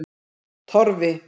Torfi